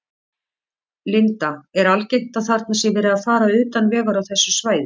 Linda: Er algengt að þarna sé verið að fara utan vegar á þessu svæði?